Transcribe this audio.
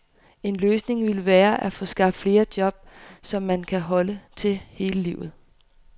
En løsning ville være, at få skabt flere job, som man kan holde til hele livet.